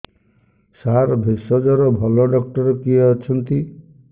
ସାର ଭେଷଜର ଭଲ ଡକ୍ଟର କିଏ ଅଛନ୍ତି